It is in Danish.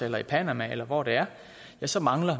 eller i panama eller hvor det er ja så mangler